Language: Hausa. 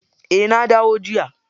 Eh na dawo jiya.